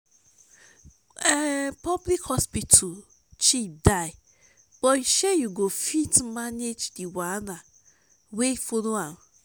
public hospital cheap die but shey yu go fit manage di wahala wey follow am